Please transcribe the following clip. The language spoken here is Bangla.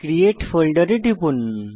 ক্রিয়েট ফোল্ডের এ টিপুন